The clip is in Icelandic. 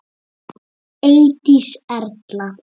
Eydís Erla.